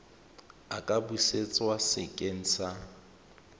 a ka busetswa sekeng sa